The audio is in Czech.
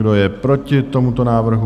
Kdo je proti tomuto návrhu?